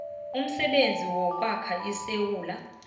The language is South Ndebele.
umsebenzi wokwakha isewula